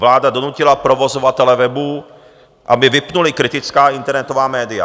Vláda donutila provozovatele webů, aby vypnuli kritická internetová média.